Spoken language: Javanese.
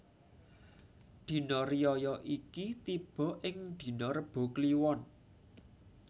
Dina riyaya iki tibo ing dina Rebo Kliwon